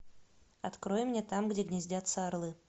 открой мне там где гнездятся орлы